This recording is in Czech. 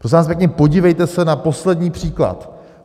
Prosím vás pěkně, podívejte se na poslední příklad.